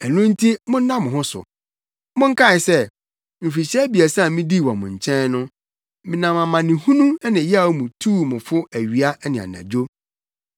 Ɛno nti monna mo ho so! Monkae sɛ, mfirihyia abiɛsa a midii wɔ mo nkyɛn no, menam amanehunu ne yaw mu tuu mo fo awia ne anadwo.